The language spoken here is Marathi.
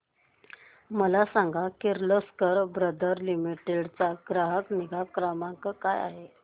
मला सांग किर्लोस्कर ब्रदर लिमिटेड चा ग्राहक निगा क्रमांक काय आहे